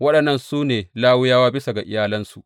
Waɗannan su ne Lawiyawa bisa ga iyalansu.